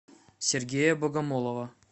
сергея богомолова